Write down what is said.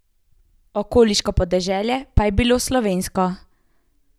Okoliško podeželje pa je bilo slovensko.